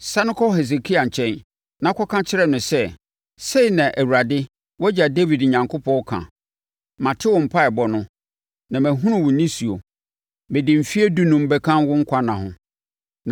“Sane kɔ Hesekia nkyɛn, na kɔka kyerɛ no sɛ, ‘Sei na Awurade, wʼagya Dawid Onyankopɔn ka: Mate wo mpaeɛbɔ no, na mahunu wo nisuo. Mede mfeɛ dunum bɛka wo nkwa nna ho.